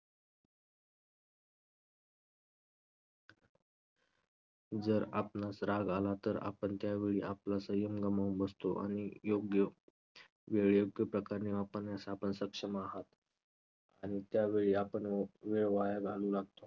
जर आपणास राग आला तर आपण त्यावेळी आपला संयम गमावून बसतो आणि योग्य वेळी योग्यप्रकारे वापरल्यास आपण सक्षम आहात. आणि त्यावेळी आपण वो~ वेळ वाया घालवू लागतो.